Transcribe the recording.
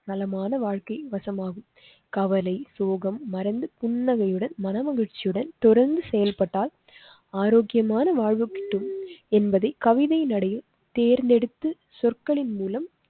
நலமான வாழ்க்கை வசமாகும். கவலை சோகம் மறந்து புன்னகையுடன் மனமகிழ்ச்சியுடன் தொடர்ந்து செயல்பட்டால் ஆரோக்கியமான வாழ்வு கிட்டும் என்பது கவிதை. நடையில் தேர்ந்தெடுத்து சொற்களின் மூலம்